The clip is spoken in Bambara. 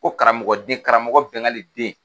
Ko karamɔgɔ den karamɔgɔ Bɛngali den